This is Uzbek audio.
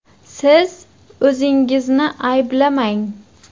Siz o‘zingizni ayblamang.